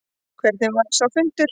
Hvernig var sá fundur?